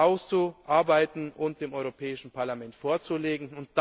auszuarbeiten und dem Europäischen Parlament vorzulegen.